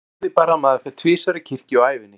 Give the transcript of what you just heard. Það þýðir bara að maður fer tvisvar í kirkju á ævinni.